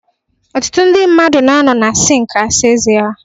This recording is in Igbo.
Ọtụtụ ndị mmadụ na-anọ na sink asa ezé ha.